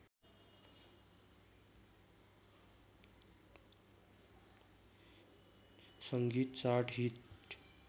सङ्गीत chart hit